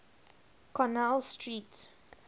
connell street